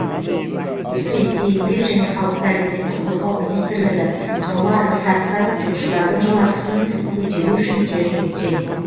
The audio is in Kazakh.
осы ретте еңбек және халықты әлеуметтік қорғау министрлігі қыруар іс атқарып жұмысшылардың жалақысын көтеру үшін тер төккен